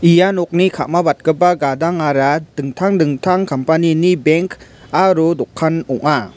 ia nokni ka·mabatgipa gadangara dingtang dingtang company-ni bank aro dokan ong·a.